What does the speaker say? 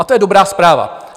A to je dobrá zpráva.